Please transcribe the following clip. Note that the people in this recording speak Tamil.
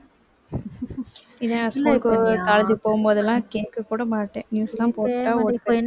இது school க்கு college க்கு போகும் போதெல்லாம் கேட்கக் கூட மாட்டேன் news லாம் போட்டா ஓடி